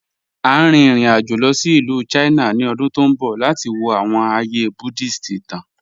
À n rìn ìrìn-àjọ̀ lọ sí Ilù China ni ọ̀dún tó nbọ̀ lati wọ̀ awọn ààyè Buddhist ìtàn.